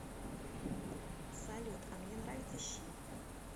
салют а мне нравятся щи